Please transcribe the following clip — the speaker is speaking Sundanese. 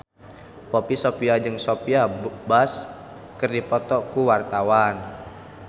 Poppy Sovia jeung Sophia Bush keur dipoto ku wartawan